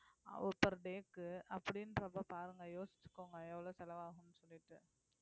per day க்கு அப்படின்றப்ப பாருங்க யோசிச்சுக்கோங்க எவ்வளவு செலவாகும்னு சொல்லிட்டு